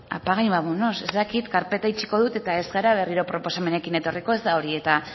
apaga y vámonos ez dakit karpeta itxiko dut eta ez gara berriro proposamenekin etorriko ez da hori